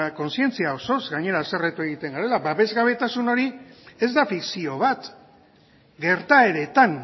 kontzientzia osoz gainera haserretu egiten garela babesgabetasun hori ez da fikzio bat gertaeretan